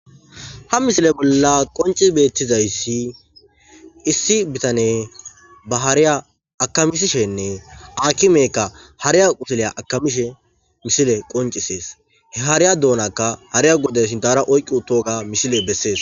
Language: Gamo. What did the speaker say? haa missile bolla qonicci betizayissi, issi bitaneyi baa haariya akamisishshenne akimeyikka akimeyikka haariya qussule akamishshe missileyi qoniccises.hee haariya dunakka haariya gordishin haara oyikkii uttoga missileyi besses.